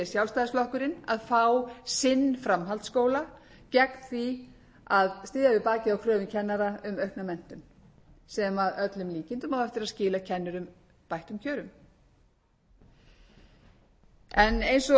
sjálfstæðisflokkurinn að fá sinn framhaldsskóla gegn því að styðja við bakið á kröfum kennara um aukna menntun sem að öllum líkindum á eftir að skila kennurum bættum kjörum en eins og hér